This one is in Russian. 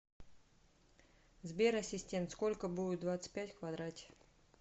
сбер ассистент сколько будет двадцать пять в квадрате